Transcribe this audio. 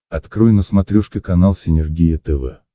открой на смотрешке канал синергия тв